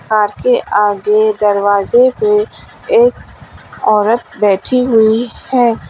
Car आगे दरवाजे पे एक औरत बैठी हुई है।